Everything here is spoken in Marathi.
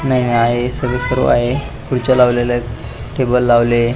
नाही नाही आहे हे सगळ सुरू आहे खुर्च्या लावलेल्या आहेत टेबल लावलेले आहे.